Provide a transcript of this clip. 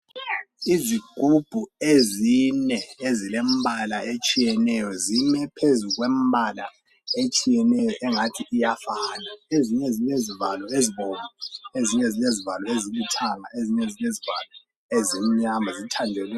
Izigubhu ezine ezilembala etshiyeneyo zime phezu kwembala etshiyeneyo engathi iyafana. Ezinye zilezivalo ezibomvu, ezinye zilezivalo ezilithanga, ezinye zilezivalo ezimnyama.